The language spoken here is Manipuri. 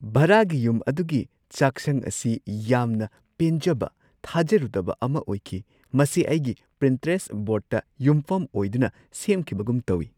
ꯚꯔꯥꯒꯤ ꯌꯨꯝ ꯑꯗꯨꯒꯤ ꯆꯥꯛꯁꯪ ꯑꯁꯤ ꯌꯥꯝꯅ ꯄꯦꯟꯖꯕ ꯊꯥꯖꯔꯨꯗꯕ ꯑꯃ ꯑꯣꯏꯈꯤ – ꯃꯁꯤ ꯑꯩꯒꯤ ꯄꯤꯟꯇꯦꯔꯦꯁꯠ ꯕꯣꯔꯗꯇ ꯌꯨꯝꯐꯝ ꯑꯣꯏꯗꯨꯅ ꯁꯦꯝꯈꯤꯕꯒꯨꯝ ꯇꯧꯋꯤ!